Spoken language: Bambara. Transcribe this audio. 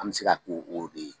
An bɛ se ka ko o de ye.